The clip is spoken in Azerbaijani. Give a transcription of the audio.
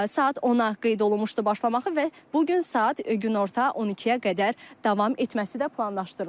Saat 10-a qeyd olunmuşdu başlamaxı və bu gün saat günorta 12-yə qədər davam etməsi də planlaşdırılır.